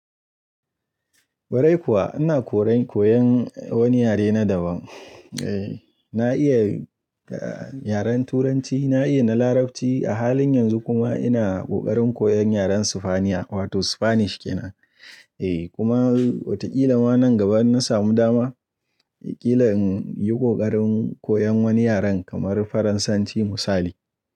Kwarai kuwa ina koyan wani yare na daban. Na iya yaren Turanci, na iya na Larabci a halin yanzu kuma ina kokarin koyan yaren Sifaniya wato Spanish ke nan. Kuma watakila ma nan gaba in na samu dama, kila in yi kokarin koyan wani yaren kamar Faransanci misali.